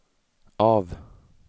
av